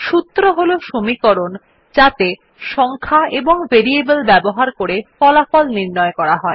সূত্র হল সমীকরণ যাত়ে সংখ্যা এবং ভেরিয়েবল ব্যবহার করে ফলাফল নির্ণয় করা হয়